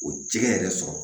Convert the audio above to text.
O jɛgɛ yɛrɛ sɔrɔ